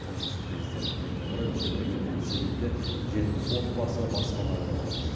тұңғыш президент күніне орай өскемен мен семейде жетпіс отбасы баспаналы болады